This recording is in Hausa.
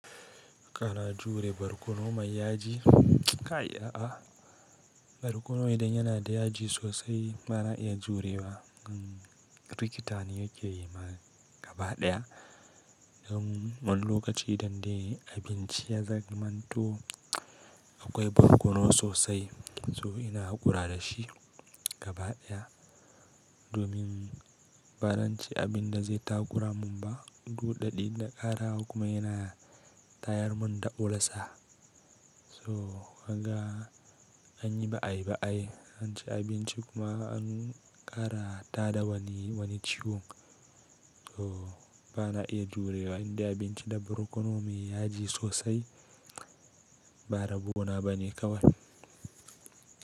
Kana jure barkono mai yaji? Kai a'a, barkono idan yana da yaji sosai ba na iya jurewa. Rikita ni yake yi ma gaba ɗaya don wani lokaci idan dai abinci ya zamanto akwai barkono sosai to ina haƙura da shi gaba ɗaya. Domin ba zan ci abinda zai taƙura min ba, duk da idan na ƙara kuma yana tayar mun da olsa. To ka ga an yi ba ai ba anci abinci kuma an ƙara tada wani ciwo. To ba na iya jurewa idan dai abinci da barkono mai yaji sosai ba rabo na bane kawai.